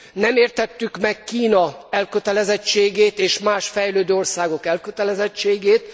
Nem értettük meg Kína elkötelezettségét és más fejlődő országok elkötelezettségét.